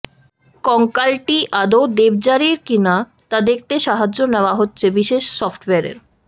কঙ্কালটি আদৌ দেবযানীর কি না তা দেখতে সাহায্য নেওয়া হচ্ছে বিশেষ সফট ওয়্যারের